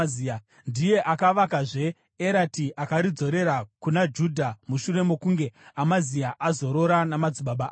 Ndiye akavakazve Erati akaridzorera kuna Judha mushure mokunge Amazia azorora namadzibaba ake.